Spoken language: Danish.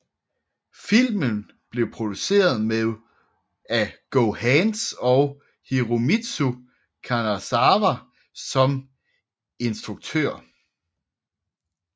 Filmen blev produceret af GoHands med Hiromitsu Kanazawa som instruktør